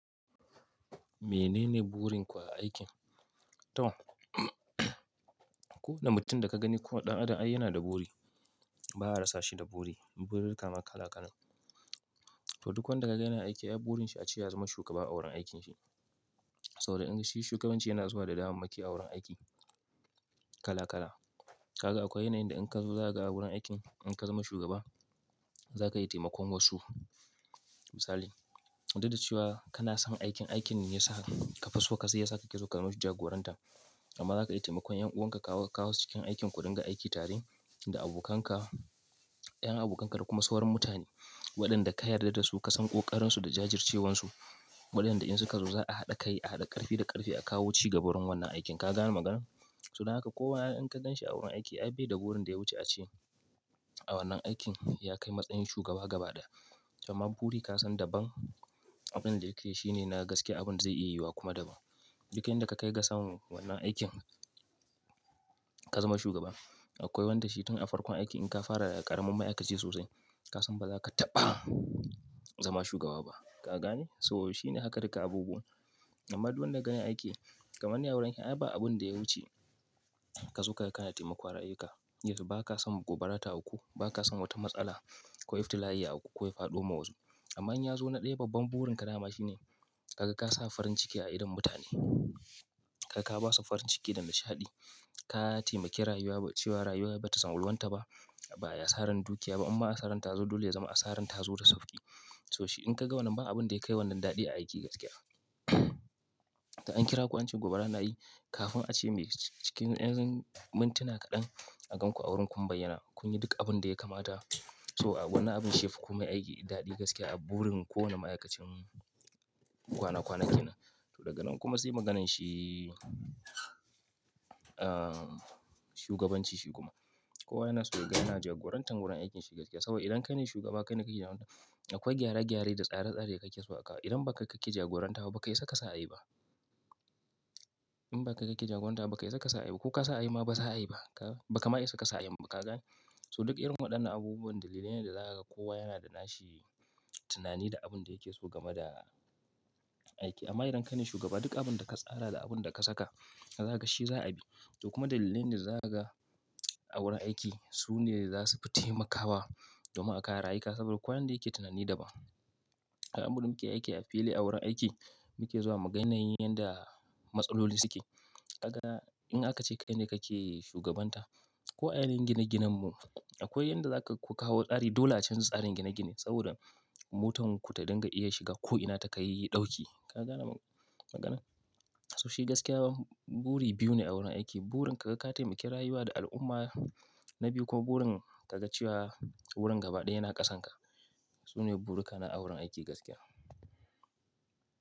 Menene burin ku a aikin? To, ko na mutum da ka gani ko ɗan adam ai yana da buri. Ba a rasa shi da buri. Buri ka ma kala kala. To duk wanda ka ga yana aiki, ai burin shi a ce ya zama shugaba a wurin aikinshi. Saboda in shi shugabanci yana zuwa da damammaki a wurin aiki kala kala. Kaga akwai yanayin da in ka zo za ka ga wurin aikin in ka zama shugaba za ka yi taimakon wasu. Misali, daɗe da cewa kana son aikin, aikin ne ya sa ka faso ka sai ya sa ka ke so ka zama jagoranta. Amma za ka yi taimakon ƴan uwanka kawo, kawo su cikin aikin ku dinga aiki tare da abokanka, ƴan abokanka da kuma sauran mutane. Waɗanda ka yarda da su ka san ƙoƙarinsu da jajircewansu. Waɗanda in suka zo za a haɗa kai, a haɗa ƙarfi da ƙarfe a kawo ci ga wurin wannan aikin. Ka gane maganar? So don haka kowa in ka ganshi a wurin aiki, ai bai da burin da ya wuce a ce a wannan aikin ya kai matsayin shugaba gaba ɗaya. Amma buri ka san daban abin da yake yi shine na gaskiya abin zai iya yi wa kuma daban. Duk inda ka kai ga san wannan aikin ka zama shugaba. Akwai wanda shi tun a farkon aiki in ka fara ƙaramin ma'aikaci sosai ka san ba za ka taɓa zama shugaba ba. Ka gane? So shi ne haka duka abubuwa. Amma duk wanda ka ga yana aiki kamar ni a wurin aiki ai ba abin da ya wuce ka so ka ga kana taimakon rayuka. Yauwa ba ka san gobara ta auku, ba ka san wata matsala. Ko iftila'i ya auku ko ya faɗo ma wasu. Amma in ya zo na ɗaya, babban burin ka dama shine kaga ka sa farin ciki a idon mutane. Kaga ka ba su farin ciki da nishaɗi. Ka taimaki rayuwa cewa rayuwa ba ta salwanta ba, ba ai asaran dukiya ba imma asarar tazo dole ya zama asarar tazo da sauƙi. To shi in ka ga wannan ba abin da yakai wannan daɗi a aiki gaskiya. To an kira ku an ce gobara na yi kafin a ce me ciki, cikin yanayin mintuna kaɗan a gan ku a wurin kun bayyana. Kun yi duk abin da ya kamata. So a wannan abun shiyafi komai aiki daɗi gaskiya a burin kowane ma'aikacin kwana kwana kenan to daga nan kuma sai maganar shi, ah, shugabanci shi kuma. Kowa yana so ya ga yana jagorantar wurin aikinshi gaskiya. Saboda idan kai ne shugaba kai ne kake yawanka. Akwai gyare gyare da tsare tsare da kake so a kawo. Idan ba ka kake jagoranta ba, ba ka isa ka sa a yi ba. In ba ka kake jagoranta ba, ba kai saka su a yi ba. Ko ka sa a yi ma ba za a yi ba. Ka, ba ka ma isa ka sa a yin. Ba ka gane? So duk irin waɗannan abubuwan dalilai da zaka kowa yana da nashi tunani da abin da yake so game da aiki. Amma idan kai ne shugaba duk abin da ka tsara da abin da ka saka za ka ga shi za a bi. To kuma dalilai da zai ga a wurin aiki su ne za su fi taimakawa domin a kare rayuka saboda kowa yanda yake tunani da ban. Ai abin da muke aiki a fili a wurin aiki muke zuwa mu ga yanayin yanda matsaloli suke. Ka ga in aka ce kai ne kake shugabanta ko a yanayin gine ginen mu akwai yanda zaka ku kawo tsari dole a canza tsarin gine gine saboda motar ku ta dinga iya shiga ko'ina ta kai ɗauki. Ka gane maganar? So shi gaskiya buri biyu ne a wurin aiki. Burin ka ga ka taimaki rayuwa da al'umma na biyu kuma burin ka ga cewa wurin gaba ɗaya yana ƙasanka. Su ne buri ka na a wurin aiki gaskiya.